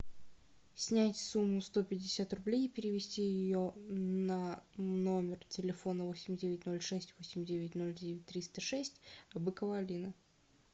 снять сумму сто пятьдесят рублей и перевести ее на номер телефона восемь девять ноль шесть восемь девять ноль девять триста шесть быкова алина